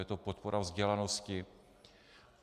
Je to podpora vzdělanosti.